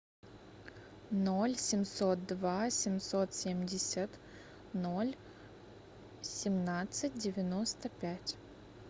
ноль семьсот два семьсот семьдесят ноль семнадцать девяносто пять